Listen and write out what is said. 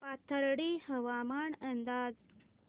पाथर्डी हवामान अंदाज